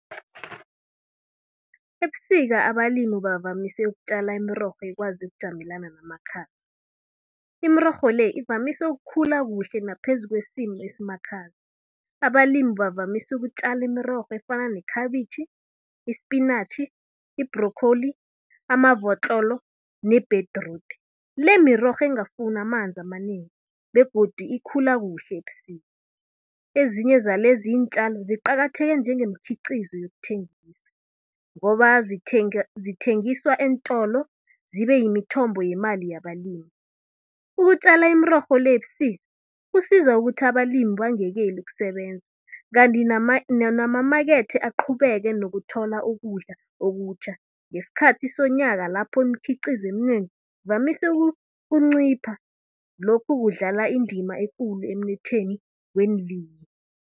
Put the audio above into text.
Ebusika abalimi bavamise ukutjala imirorho ekwazi ukujamelana namakhaza. Imirorho le, ivamise ukukhula kuhle naphezu kwesimo esimakhaza. Abalimi bavamise ukutjala imrorho efana nekhabitjhi, ispinatjhi, i-broccoli, amavotlolo nebhedrude. Le mirorho engafuni amanzi amanengi begodu ikhula kuhle ebusika. Ezinye zalezi iintjalo ziqakatheke njengemikhiqizo yokuthengisa ngoba zithengiswa eentolo, zibe yimithombo yemali yabalimi. Ukutjala imirorho le ebusika, kusiza ukuthi abalimi bangekeli ukusebenza, kanti namamakethe aqhubeke nokuthola ukudla okutjha ngesikhathi sonyaka lapho imikhiqizo eminengi evamise ukuncipha. Lokhu kudlala indima ekulu emnothweni weenlimi.